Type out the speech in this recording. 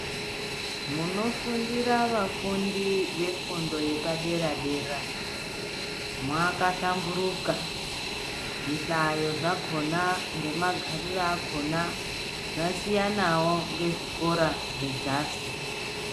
Munofundira vafundi vefundo yepadera-dera, mwakahlamburuka, zvihlayo zvakhona, ngemagariro akhona. Zvasiyanawo ngezvikora zvedzasi.